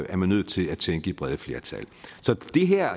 er man nødt til at tænke i brede flertal